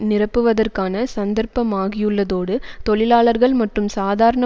நிரப்புவதற்கான சந்தர்ப்பமாகியுள்ளதோடு தொழிலாளர்கள் மற்றும் சாதாரண